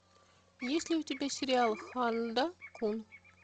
есть ли у тебя сериал ханда кун